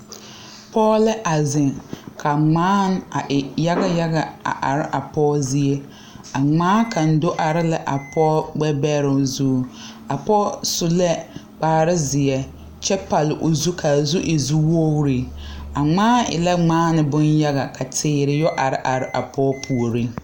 Pɔɔ lɛ a zeŋ ka ngmaane a e yaga yaga a are a pɔɔ zie a ngmaa kaŋ do are la a pɔɔ gbɛ bɛroŋ zu a pɔɔ su lɛ kparezeɛ kyɛ pall o zu kaa zu e zu zuwogre a ngmaan e a ngmaane bon yaga ka teere yɛ are are a pɔɔ puoriŋ.